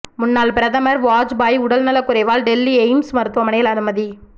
முன்னாள் பிரதமர் வாஜ்பாய் உடல் நலக்குறைவால் டெல்லி எய்ம்ஸ் மருத்துவமனையில் அனுமதி